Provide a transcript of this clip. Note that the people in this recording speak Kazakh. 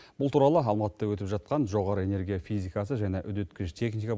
бұл туралы алматыда өтіп жатқан жоғары энергия физикасы және үдеткіш техника